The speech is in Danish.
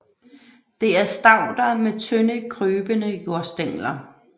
Det er stauder med tynde krybende jordstængler